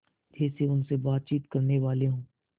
जैसे उनसे बातचीत करनेवाले हों